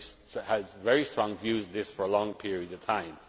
I have held very strong views on this for a long period of time.